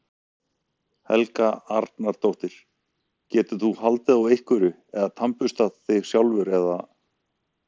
Helga Arnardóttir: Getur þú haldið á einhverju eða tannburstað þig sjálfur eða?